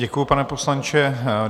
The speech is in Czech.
Děkuji, pane poslanče.